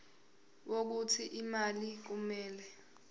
wokuthi imali kumele